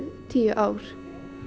tíu ár